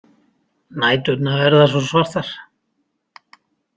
Næturnar verða svo svartar.